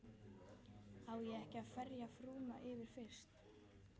Á ég ekki að ferja frúna yfir fyrst?